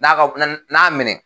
N'a ka n'a minɛ